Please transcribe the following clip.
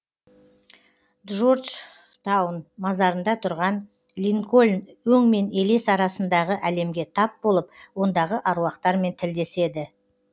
джорджтаун мазарында тұрған линкольн өң мен елес арасындағы әлемге тап болып ондағы аруақтармен тілдеседі